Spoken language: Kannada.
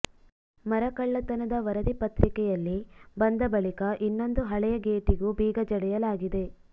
ಮರಕಳ್ಳತನದ ವರದಿ ಪತ್ರಿಕೆಯಲ್ಲಿ ಬಂದ ಬಳಿಕ ಇನ್ನೊಂದು ಹಳೆಯ ಗೇಟಿಗೂ ಬೀಗ ಜಡಿಯಲಾಗಿದೆ